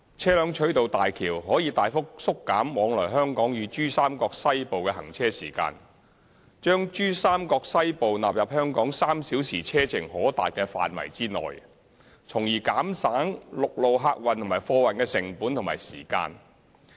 車輛取道大橋可大幅縮減往來香港與珠三角西部的行車時間，將珠三角西部納入香港3小時車程可達的範圍內，從而減省陸路客運和貨運的成本和時間。